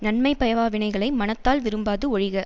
நன்மை பயவா வினைகளை மனத்தால் விரும்பாது ஒழிக